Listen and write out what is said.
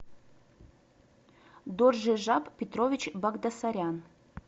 доржижап петрович багдасарян